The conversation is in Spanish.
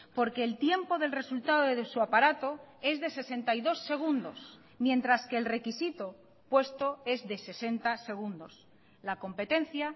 porque el tiempo del resultado de su aparato es de sesenta y dos segundos mientras que el requisito puesto es de sesenta segundos la competencia